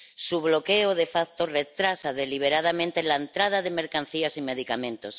Su bloqueo, de facto retrasa deliberadamente la entrada de mercancías y medicamentos.